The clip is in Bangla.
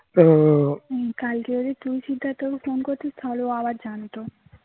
কালকে যদি তুই সিদ্ধার্থ কে phone করতিস তালে ও আবার জানতো